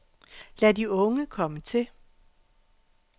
Lad de unge komme til.